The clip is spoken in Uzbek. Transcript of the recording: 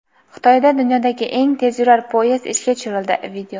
Xitoyda dunyodagi eng tezyurar poyezd ishga tushirildi.